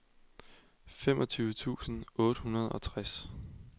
femogtyve tusind otte hundrede og tres